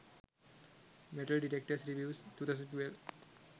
metal detectors reviews 2012